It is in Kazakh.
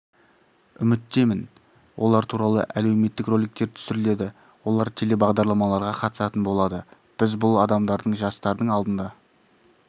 үміттемін олар туралы әлеуметтік роликтер түсіріледі олар телебағдарламаларға қатысатын болады біз бұл адамдардың жастардың алдында